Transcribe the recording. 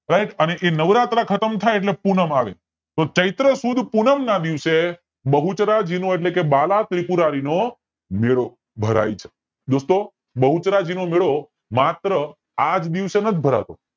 સાયબ એ નવરાત્રા ખતમ થાય એટલે પૂનમ આવે તો ચૈત્ર સુદ પૂનમ ના દિવસે બહુચરાજીનો એટલે કે બાલાત્રિપુરારી નો મેળો ભરાય છે દોસ્તો બહુચરાજી નો મેળો માત્ર આજ દિવસે નથી ભરાતો